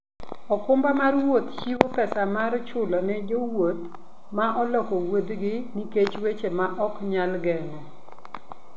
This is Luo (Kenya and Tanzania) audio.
okumba mar wuoth chiwo pesa mar chulo ne jowuoth ma oloko wuodhgi nikech weche ma ok nyal geng'o.